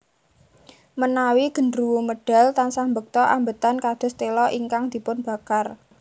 Menawi gederuwo medal tansah mbekta ambetan kados tela ingkang dipunbakar